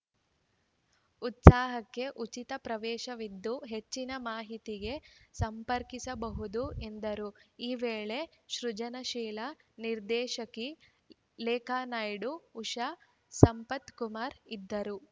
ಉತ್ಸವಕ್ಕೆ ಉಚಿತ ಪ್ರವೇಶವಿದ್ದು ಹೆಚ್ಚಿನ ಮಾಹಿತಿಗೆ ಸಂಪರ್ಕಿಸಬಹುದು ಎಂದರು ಈ ವೇಳೆ ಸೃಜನಶೀಲ ನಿರ್ದೇಶಕಿ ಲೇಖಾ ನಾಯ್ಡು ಉಷಾ ಸಂಪತ್‌ಕುಮಾರ್‌ ಇದ್ದರು